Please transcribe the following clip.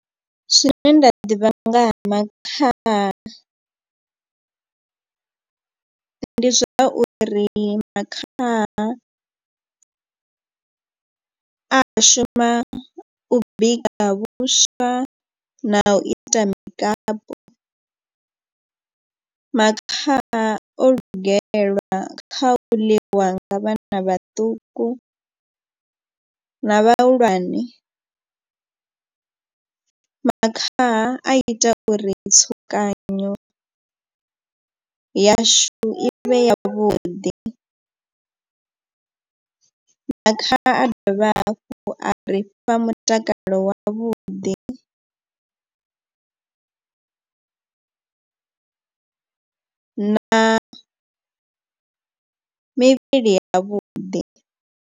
Zwine nda ḓivha nga ha makhaha ndi zwa uri makhaha a shuma u bika vhuswa na u ita mikapu. Makhaha o lugelwa kha u ḽiwa nga vhana vhaṱuku na vhahulwane. Makhaha a ita uri tsukanyo yashu i vhe ya vhuḓi makhaha a dovha hafhu a ri fha mutakalo wavhuḓi na mivhili ya vhuḓi.